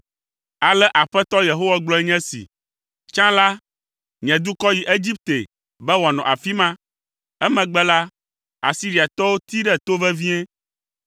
Ale Aƒetɔ Yehowa gblɔe nye esi: “Tsã la, nye dukɔ yi Egipte be wòanɔ afi ma. Emegbe la, Asiriatɔwo tee ɖe to vevie.